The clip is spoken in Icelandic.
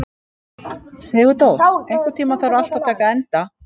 Sigurdór, einhvern tímann þarf allt að taka enda.